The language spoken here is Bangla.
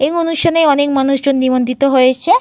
এই অনুষ্ঠানে অনেক মানুষজন নিমন্ত্রিত হয়েছে।